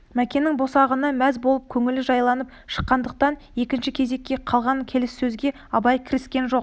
мәкеннің босағанына мәз болып көңілі жайланып шыққандықтан екінші кезекке қалған келіссөзге абай кіріскен жоқ